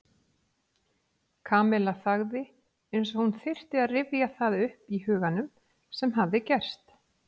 Kamilla þagnaði eins og hún þyrfti að rifja það upp í huganum sem hafði gerst.